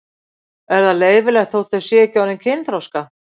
Er það leyfilegt þótt þau séu ekki orðin kynþroska?